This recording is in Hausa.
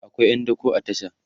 akwai ƴan dako a tasha